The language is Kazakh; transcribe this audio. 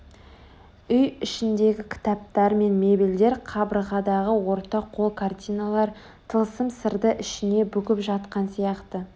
Үй ішіндегі кітаптар мен мебельдер қабырғадағы орта қол картиналар тылсым сырды ішіне бүгіп жатқан сияқты